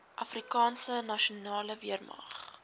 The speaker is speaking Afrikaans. afrikaanse nasionale weermag